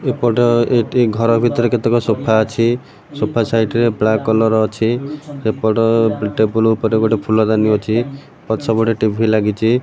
ଏପଟ ଏଟି ଘର ଭିତରେ କେତେକ ସୋଫା ଅଛି ସୋଫା ସାଇଟ୍ ରେ ବ୍ଲାକ୍ କଲର୍ ଅଛି ସେପଟ ଟେବୁଲୁ ଉପରେ ଗୋଟେ ଫୁଲଦାନୀ ଅଛି ପଛପଟେ ଗୋଟେ ଟି_ଭି ଲାଗିଚି।